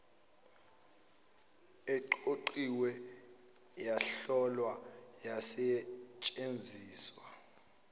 eqoqiwe yahlolwa yasetshenziswa